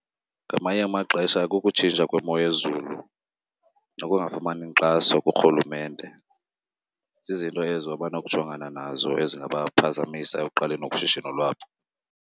Ngamanye amaxesha kukutshintsha kwemo yezulu nokungafumani nkxaso kuRhulumente. Zizinto ezo abanokujongana nazo ezingabaphazamisa ekuqaleni ushishino lwabo.